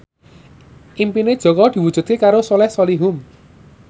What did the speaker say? impine Jaka diwujudke karo Soleh Solihun